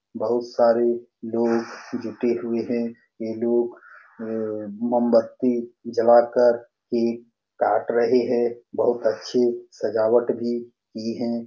बहुत सारे लोग जूते हुए है ये लोग मोमबत्ती जलाकर केक काट रहे है बहुत अच्छी सजावट भी की है ।